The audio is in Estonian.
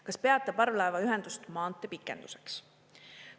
Kas peate parvlaevaühendust maanteepikenduseks?